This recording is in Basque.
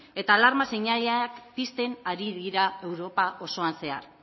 eta alarma seinaleak pisten ari dira europa osoan zehar